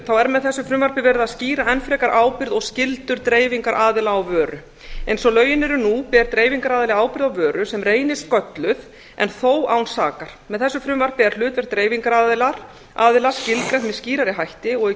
er með þessu frumvarpi verið að skýra enn frekar ábyrgð og skyldur dreifingaraðila á vöru eins og lögin eru nú ber dreifingaraðili ábyrgð á vöru sem reynist gölluð en þó án sakar með þessu frumvarpi er hlutverk dreifingaraðila skilgreint með skýrari hætti og í